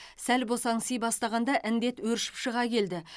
сәл босаңси бастағанда індет өршіп шыға келді